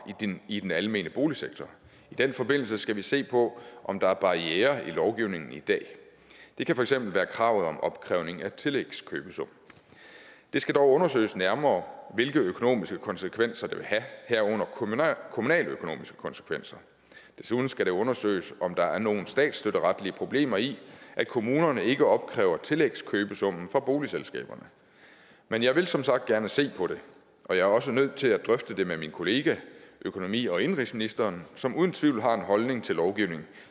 i den almene boligsektor i den forbindelse skal vi se på om der er barrierer i lovgivningen i dag det kan for eksempel være kravet om opkrævning af tillægskøbesum det skal dog undersøges nærmere hvilke økonomiske konsekvenser det vil have herunder kommunaløkonomiske konsekvenser desuden skal det undersøges om der er nogen statsstøtteretlige problemer i at kommunerne ikke opkræver tillægkøbesummen fra boligselskaberne men jeg vil som sagt gerne se på det og jeg er også nødt til at drøfte det med min kollega økonomi og indenrigsministeren som uden tvivl har en holdning til lovgivning